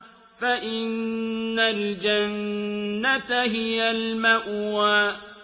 فَإِنَّ الْجَنَّةَ هِيَ الْمَأْوَىٰ